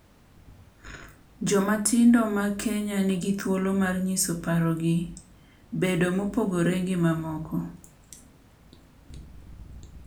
Joma tindo mag Kenya nigi thuolo mar nyiso parogi, bedo mopogore gi mamoko,